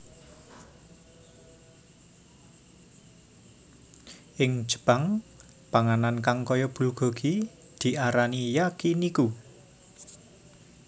Ing Jepang panganan kang kaya bulgogi diarani Yakiniku